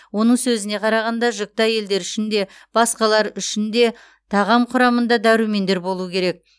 оның сөзіне қарағанда жүкті әйелдер үшін де басқалар үшін де тағам құрамында дәрумендер болуы керек